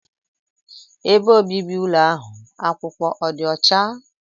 Ebe obibi ụlọ ahụ akwụkwọ ọ dị ọcha?